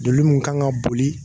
Joli mun kan ka boli